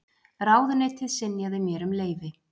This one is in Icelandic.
Ráðuneytið synjaði mér um leyfi.